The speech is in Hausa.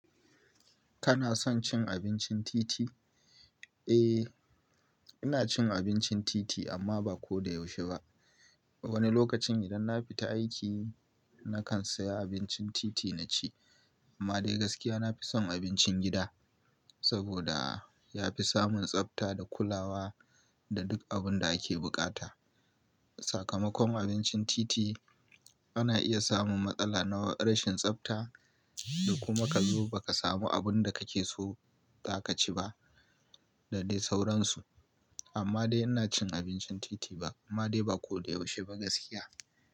Kana son cin abincin titi? Eh, ina cin abincin titi amma ba ko da yaushe ba. Wani lokacin idan na fi ta aiki nakan saya abincin titi na ci. Amma dai gaskiya na fi son abincin gida saboda ya fi samun tsafta da kulawa da duk abin da ake buƙata. Sakamakon abincin titi ana iya samun matsala na rashin tsafta da kuma ka zo ba ka samu abin da kake so za ka ci ba da dai sauransu. Amma dai ina cin abincin titi ba amma dai ba ko da yaushe ba gaskiya.